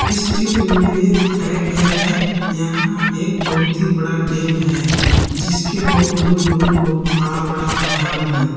इस चित्र में ये दिखाया गया है यहां एक बहुत ही बड़ा डैम है जिसके बहुत दूर दूर बहुत बड़ा बड़ा पहाड़ है।